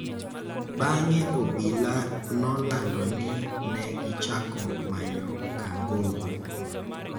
Bang�e, obila nolando ni ne gichako manyo Kangogo,